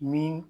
Min